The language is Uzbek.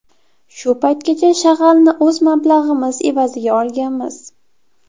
Shu paytgacha shag‘alni o‘z mablag‘imiz evaziga olganmiz.